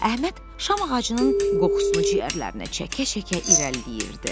Əhməd şam ağacının qoxusunu ciğərlərinə çəkə-çəkə irəliləyirdi.